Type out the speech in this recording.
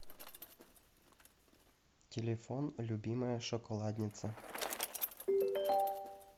телефон любимая шоколадница